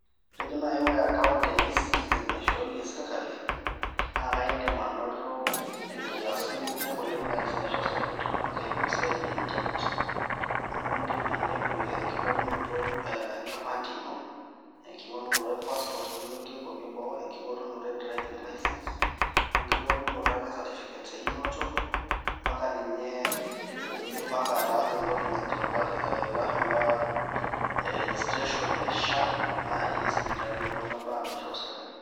Kitejo naaji ore account e Ecitezen naishooyie serkali naa kaindim anoto nkiasin kumok oleng' naai naisho serkali iltung'anak eimu esiai e Internet, amu indim ainepu enking'orunoto enkipande ino, enking'orunoto e Passport nilotie nkuapi eboo, enking'orunoto e Driving license, wenking'orunoto ake e Certificate einoto mpaka ninye indim mpaka ataasa entoki najo lashumpa registration e SHA naai esipitali e kuna baa naishoru serkali.